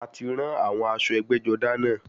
A ti rán àwọn aṣọ ẹgbẹ́-jọdá náà.